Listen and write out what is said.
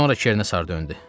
Sonra Kernə sarı döndü.